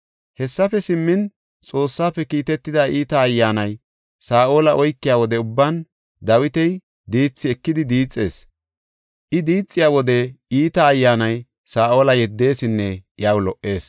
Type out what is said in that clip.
Hessafe simmin, Xoossafe kiitetida iita ayyaanay Saa7ola oykiya wode ubban Dawiti diithi ekidi diixees. I diixiya wode iita ayyaanay Saa7ola yeddeesinne iyaw lo77ees.